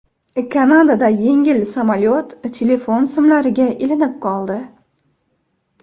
Kanadada yengil samolyot telefon simlariga ilinib qoldi.